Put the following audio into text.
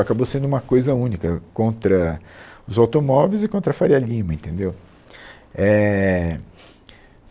Acabou sendo uma coisa única contra os automóveis e contra a Faria Lima, entendeu? Éh